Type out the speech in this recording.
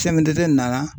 nana